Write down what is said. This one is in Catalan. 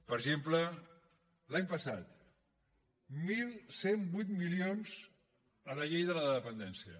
per exemple l’any passat onze zero vuit milions a la llei de la dependència